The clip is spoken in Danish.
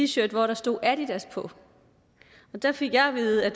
shirt hvor der stod adidas på og der fik jeg at vide at